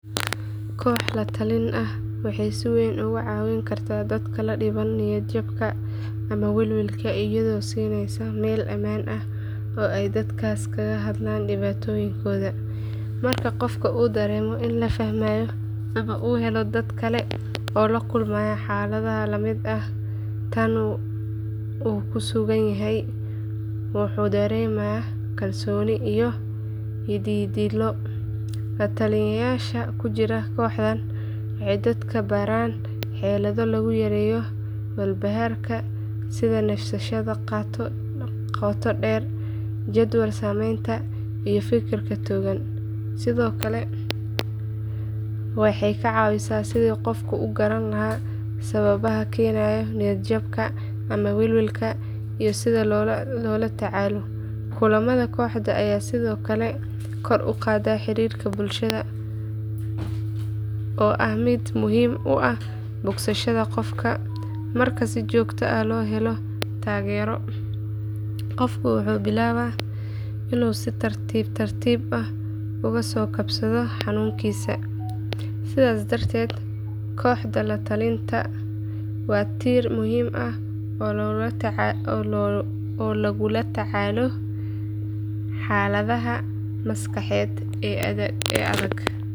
Koox la-talin ah waxay si weyn uga caawin kartaa dadka la dhibban niyadjabka ama welwelka iyadoo siinaysa meel ammaan ah oo ay dadkaas kaga hadlaan dhibaatooyinkooda. Marka qof uu dareemo in la fahmayo ama uu helo dad kale oo la kulmaya xaalad la mid ah tan uu ku sugan yahay, wuxuu dareemaa kalsooni iyo yididiilo. La-taliyeyaasha ku jira kooxdan waxay dadka baraan xeelado lagu yareeyo walbahaarka sida neefsashada qoto dheer, jadwal samaynta, iyo fikirka togan. Sidoo kale waxay ka caawiyaan sidii qofku u garan lahaa sababaha keenaya niyadjabka ama welwelka iyo sida loola tacaalo. Kulamada kooxda ayaa sidoo kale kor u qaada xiriirka bulshada oo ah mid muhiim u ah bogsashada qofka. Marka si joogto ah loo helo taageero, qofka wuxuu bilaabaa inuu si tartiib tartiib ah uga soo kabsado xanuunkiisa. Sidaas darteed kooxda la-talin waa tiir muhiim ah oo lagula tacaalo xaaladaha maskaxeed ee adag.